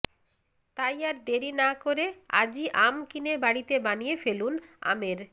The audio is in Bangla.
তাই আর দেরি না করে আজই আম কিনে বাড়িতে বানিয়ে ফেলুন আমের